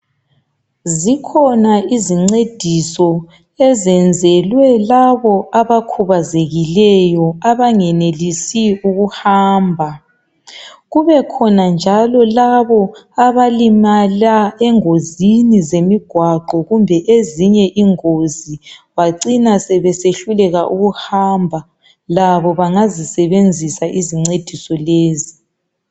Zikhona izincediso ezenzelwe labo abakhubazekileyo, abangenelisi ukuhamba. Kubekhona njalo labo abalimala engozini zemigwaqo kumbe ezinye ingozi bacina sebesehluleka ukuhamba. Labo bangazisebenzisa izincediso lezi.